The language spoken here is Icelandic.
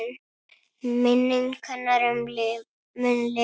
Minning hennar mun lifa.